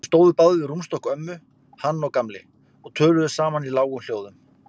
Þeir stóðu báðir við rúmstokk ömmu, hann og Gamli, og töluðu saman í lágum hljóðum.